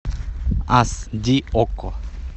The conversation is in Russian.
ас ди окко